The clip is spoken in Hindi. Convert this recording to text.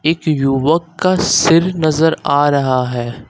एक युवक का सिर नजर आ रहा है।